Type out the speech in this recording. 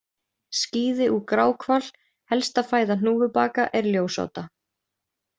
Skíði úr gráhval Helsta fæða hnúfubaka er ljósáta.